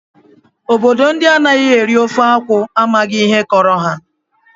Obodo ndị anaghị eri ofe akwụ amaghị ihe kọrọ ha